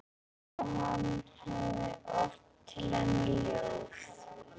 Og hann hefði ort til hennar ljóð.